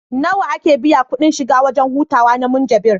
Nawa ake biya kuɗin shiga wajen hutawa na Munjibir?